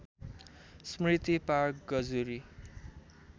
Smriti park Gajuri